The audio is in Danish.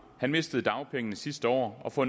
han mistede dagpengene sidste år og får